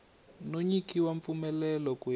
no nyikiwa mpfumelelo ku ya